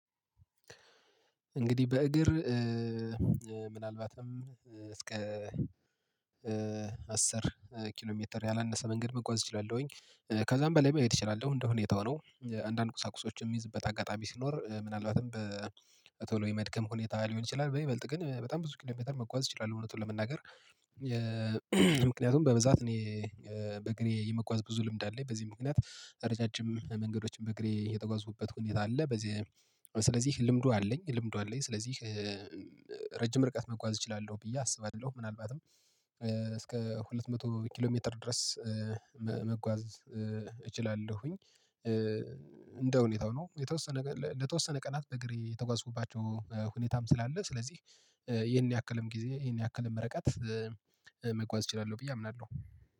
እንግዲህ በእግር ምናልባትም እስከ አስር ኪሎ ሜትር ያላነሰ መንገድ መጓዝ እችላለሁኝ። ከዛም በላይ መሄድ እችላለሁ እንደሁኔታው ነው። አንዳንድ ቁሳቁሶች የሚይዝበት አጋጣሚ ሲኖር ምናልባትም በቶሎ የመድከም ሁኔታ ሊሆን ይችላል በይበልጥ ግን በጣም ብዙ ኪሎሜትር መጓዝ እችላለሁ እውነቱን ለመናገር ምክንያቱም በብዛት እኔ በእግሬ የመጓዝ ብዙ ልምድ አለኝ። በዚህ ምክንያት ረጃጅም መንገዶችን በእግሬ የተጓዙበት ሁኔታ አለ። በዚህ ስለዚህ ልምዱ አለኝ ልምዱ አለኝ። ስለዚህ ረጅም ርቀት መጓዝ እችላለሁ ብዬ አስባለሁ። ምናልባትም እስከ ሁለት መቶ ኪሎ ሜትር ድረስ መጓዝ እችላለሁኝ። እንደ ሁኔታው ነው የተወሰነ ለተወሰነ ቀናት በእግሬ የተጓዝኩባቸው ሁኔታም ስላለ ስለዚህ ይሄን ያክልም ጊዜ ይሄን ያክልም ርቀት መጓዝ እችላለሁ ብዬ አምናለሁ።